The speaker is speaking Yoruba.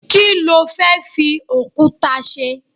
kilo fe fi okuta se